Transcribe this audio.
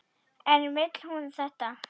En vill hún þetta?